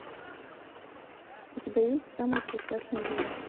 у тебя есть самый прекрасный день